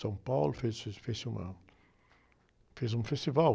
São Paulo, fez, fez, fez, fez-se uma, fez um festival.